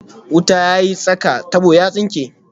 Wuta ya yi tsaka, tabo ya tsinke